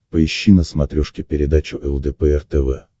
поищи на смотрешке передачу лдпр тв